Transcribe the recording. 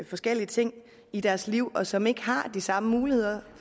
forskellige ting i deres liv og som ikke har de samme muligheder